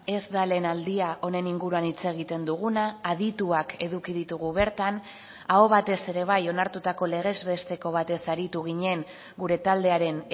ez da lehen aldia honen inguruan hitz egiten duguna adituak eduki ditugu bertan aho batez ere bai onartutako legez besteko batez aritu ginen gure taldearen